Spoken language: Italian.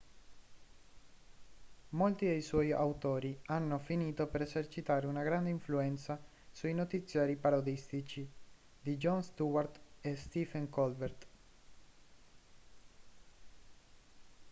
molti dei suoi autori hanno finito per esercitare una grande influenza sui notiziari parodistici di jon stewart e stephen colbert